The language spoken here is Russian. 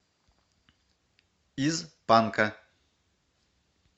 из панка